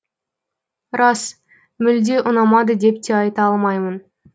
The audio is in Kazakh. рас мүлде ұнамады деп те айта алмаймын